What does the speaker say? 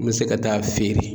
N mi se ka taa feere